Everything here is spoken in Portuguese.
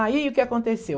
Aí o que que aconteceu?